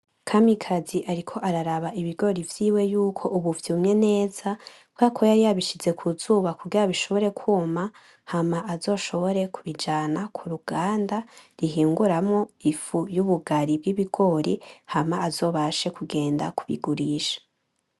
Kamikazi ariko araraba ibigori vyiwe yuko ubu vyumye neza kubera ko yari yabishize kuzuba kugira bishobore kuma, hama azoshobore kubijana kuruganda rihinguramwo ifu ry'ubugari bibigori hama azobashe kugenda kubigurisha.